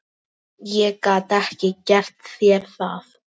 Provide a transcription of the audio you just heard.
Ég gat ekki gert þér það.